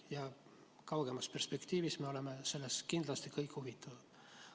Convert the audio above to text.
Ja kaugemas perspektiivis me oleme sellest kindlasti kõik huvitatud.